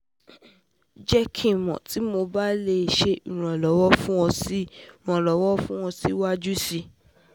Jẹ ki n mọ ti Mo ba le ṣe iranlọwọ fun ṣe iranlọwọ fun ọ siwaju sii